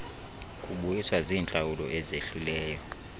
kubuyiswa ziintlawulo ezehlileyo